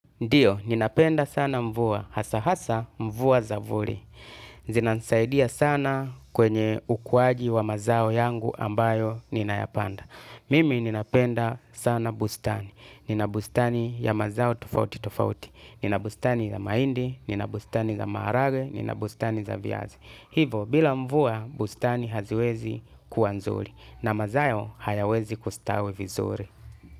Ndiyo, ninapenda sana mvua, hasa hasa mvua zavuli. Zinanisaidia sana kwenye ukuwaji wa mazao yangu ambayo ninayapanda. Mimi ninapenda sana bustani. Ninabustani ya mazao tofauti tofauti. Ninabustani ya mahindi, ninabustani ya maharage, ninabustani ya vyazi. Hivo, bila mvua, bustani haziwezi kuwanzuli. Na mazayo hayawezi kustawi vizuri.